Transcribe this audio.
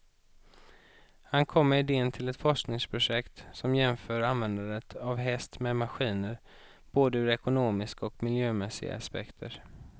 Han kom med idén till ett forskningsprojekt som jämför användandet av häst med maskiner, både ur ekonomiska och miljömässiga aspekter.